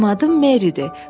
Mənim adım Meridir.